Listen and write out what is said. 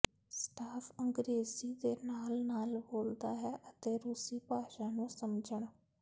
staff ਅੰਗਰੇਜ਼ੀ ਦੇ ਨਾਲ ਨਾਲ ਬੋਲਦਾ ਹੈ ਅਤੇ ਰੂਸੀ ਭਾਸ਼ਾ ਨੂੰ ਸਮਝਣ